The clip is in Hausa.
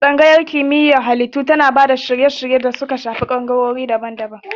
Tsangayar Kimiyyar Halittu tana ba da shirye-shirye da suka shafi bangarori daban-daban na rayayyun halittu.